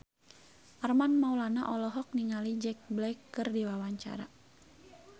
Armand Maulana olohok ningali Jack Black keur diwawancara